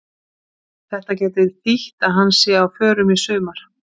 Þetta gæti þýtt að hann sé á förum í sumar.